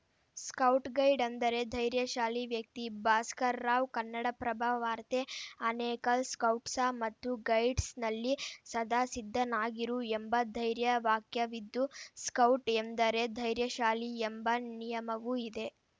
scout guide ಅಂದರೆ ಧೈರ್ಯಶಾಲಿ ವ್ಯಕ್ತಿ ಭಾಸ್ಕರ್‌ರಾವ್‌ ಕನ್ನಡಪ್ರಭ ವಾರ್ತೆ ಆನೇಕಲ್‌ ಸ್ಕೌಟ್ಸ‌ ಮತ್ತು ಗೈಡ್ಸ್‌ನಲ್ಲಿ ಸದಾ ಸಿದ್ಧನಾಗಿರು ಎಂಬ ಧ್ಯೇಯವಾಕ್ಯವಿದ್ದು ಸ್ಕೌಟ್‌ ಎಂದರೇ ಧೈರ್ಯಶಾಲಿ ಎಂಬ ನಿಯಮವೂ ಇದೆ